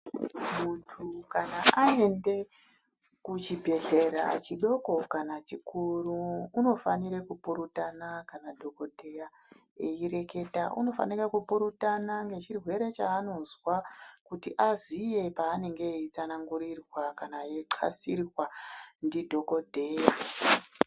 Muntu kana aende kuchibhedhlera chidoko kana chikuru unofanire kupurutana kana dhokodheya eyireketa unofanika kupurutana ngechirwere chaanozwa kuti aziye paanenge eyitsanangurirwa kana eyixasirwa ndidhokodheya.